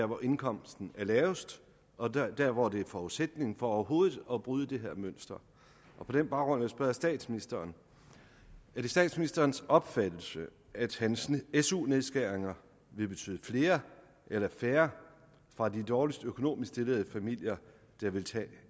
hvor indkomsten er lavest og hvor det er forudsætningen for overhovedet at bryde det her mønster på den baggrund vil jeg spørge statsministeren er det statsministerens opfattelse at hans su nedskæringer vil betyde flere eller færre fra de dårligst økonomisk stillede familier der vil tage